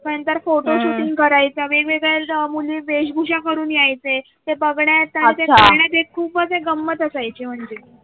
नंतर फोटोशूट करायचं वेगळी वेशभूषा करून यायचे आहे ते बघण्याचा आहे. ते खूपच गंमत असायची म्हणजे.